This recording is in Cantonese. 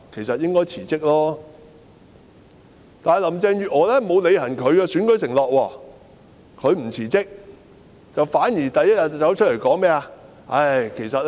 可是，林鄭月娥沒有履行其選舉承諾，不但沒有辭職，反而第一天走出來說甚麼呢？